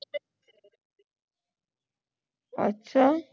ਅੱਛਾ